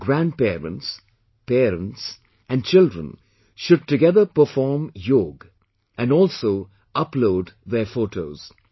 Grand parents, parents and children should together perform Yoga and also upload their photos